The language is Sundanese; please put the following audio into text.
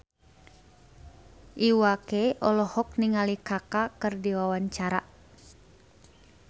Iwa K olohok ningali Kaka keur diwawancara